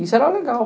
Isso era legal.